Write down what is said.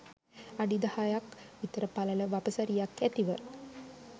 අඩි දහයක් විතර පළල වපසරියක් ඇතිව